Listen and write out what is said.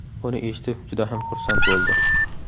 Buni eshitib juda ham xursand bo‘ldi.